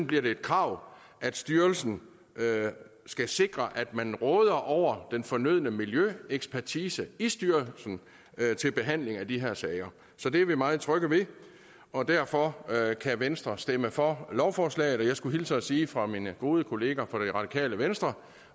bliver det et krav at styrelsen skal sikre at man råder over den fornødne miljøekspertise i styrelsen til behandling af de her sager så det er vi meget trygge ved og derfor kan venstre stemme for lovforslaget og jeg skulle hilse og sige fra mine gode kollegaer fra det radikale venstre